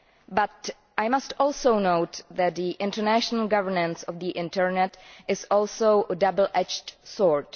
But I must also note that international governance of the internet is also a double edged sword.